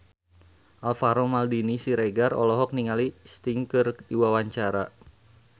Alvaro Maldini Siregar olohok ningali Sting keur diwawancara